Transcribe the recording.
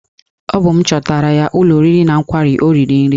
Ọ bụ m chọtara ya ụlọ oriri na nkwari o riri nri